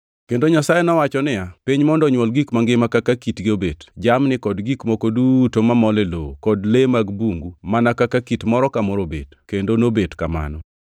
Kendo Nyasaye nowacho niya, “Piny mondo onywol gik mangima kaka kitgi obet: Jamni, kod gik moko duto mamol e lowo, kod le mag bungu, mana kaka kit moro ka moro obet.” Kendo nobet kamano.